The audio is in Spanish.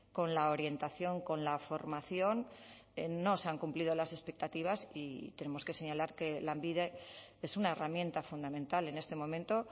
con la orientación con la formación no se han cumplido las expectativas y tenemos que señalar que lanbide es una herramienta fundamental en este momento